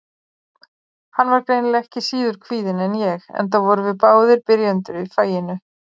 Hann var greinilega ekki síður kvíðinn en ég, enda vorum við báðir byrjendur í faginu.